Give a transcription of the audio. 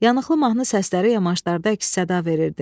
Yanıqlı mahnı səsləri yamaşlarda əks-səda verirdi.